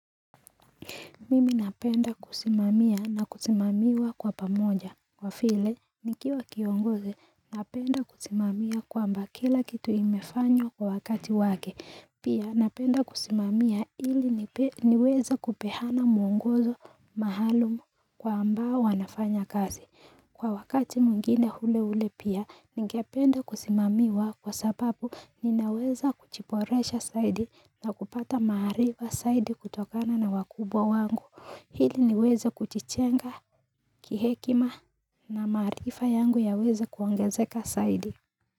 Mimi napenda kusimamia na kusimamiwa kwa pamoja. Kwa vile, nikiwa kiongozi, napenda kusimamia kwamba kila kitu imefanywa kwa wakati wake. Pia, napenda kusimamia ili niweza kupeana mwongozo maalum kwa ambao wanafanya kazi. Kwa wakati mwingine ule ule pia, ningependa kusimamiwa kwa sababu ninaweza kujiporesha zaidi na kupata maarifa zaidi kutokana na wakubwa wangu. Ili niweza kujijenga, kihekima na maarifa yangu yaweza kuongezeka zaidi.